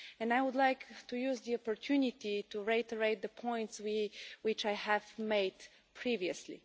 I would like to use the opportunity to reiterate the points which I have made previously.